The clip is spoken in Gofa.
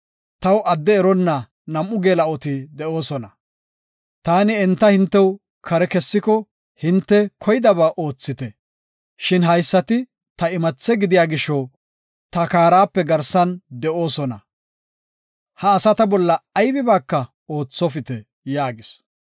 Taw adde eronna nam7u geela7oti de7oosona. Taani enta hintew kare kessiko hinte koydaba oothite. Shin haysati ta imathe gidiya gisho ta kaarape garsan de7oosona; ha asata bolla aybibaaka oothopite” yaagis.